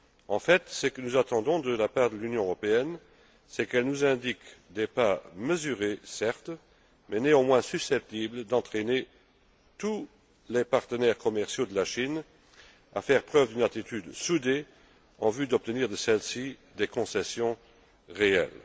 En fait, ce que nous attendons de la part de l'Union européenne, c'est qu'elle nous indique des pas mesurés, certes, mais néanmoins susceptibles d'entraîner tous les partenaires commerciaux de la Chine à faire preuve d'une attitude soudée en vue d'obtenir de celle ci des concessions réelles.